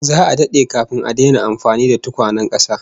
Za'a dade kafin a daina amfani da tukwanen kasa